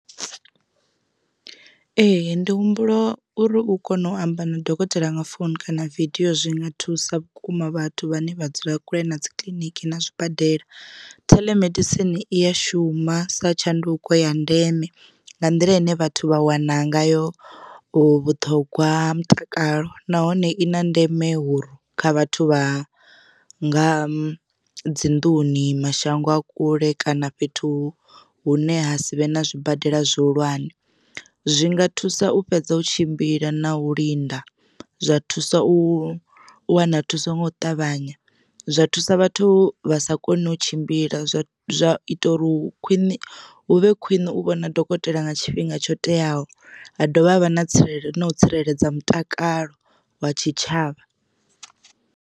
Ee ndi humbula uri u kona u amba na dokotela nga founu kana video zwinga thusa vhukuma vhathu vhane vha dzula kule na dzi kiḽiniki na zwibadela. Theḽemedisini i ya shuma sa tshanduko ya ndeme nga nḓila ine vhathu vha wana ngayo vhuṱhogwa ha mutakalo nahone i na ndeme huri kha vhathu vha nga dzinḓuni mashango a kule kana fhethu hune ha sivhe na zwibadela zwihulwane. Zwinga thusa u fhedza u tshimbila na u linda zwa thusa u wana thuso nga u ṱavhanya zwa thusa vhathu vha sa koni u tshimbila zwa zwa ita uri u khwine hu vhe khwine u vhona dokotela nga tshifhinga tsho teaho ha dovha havha na tsireledzo na u tsireledza mutakalo wa tshitshavha.